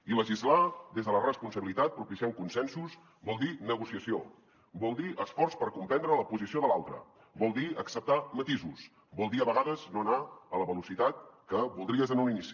i legislar des de la responsabilitat propiciant consensos vol dir negociació vol dir esforç per comprendre la posició de l’altre vol dir acceptar matisos vol dir a vegades no anar a la velocitat que voldries en un inici